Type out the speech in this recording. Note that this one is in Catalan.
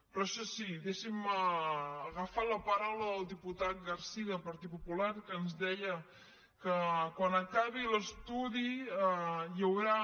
però això sí deixin me agafar la paraula del diputat garcía del partit popular que ens deia que quan acabi l’estudi hi haurà